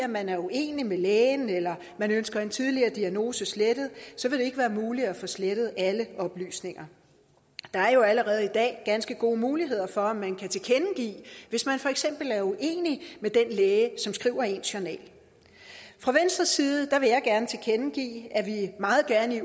man er uenig med lægen eller man ønsker en tidligere diagnose slettet så vil det ikke være muligt at få slettet alle oplysninger der er jo allerede i dag ganske gode muligheder for at man kan tilkendegive hvis man for eksempel er uenig med den læge som skriver ens journal fra venstres side vil jeg gerne tilkendegive at vi meget gerne i